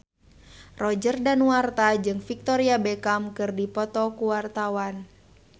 Roger Danuarta jeung Victoria Beckham keur dipoto ku wartawan